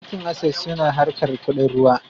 Bankin Ases suna harkar kuɗin ruwa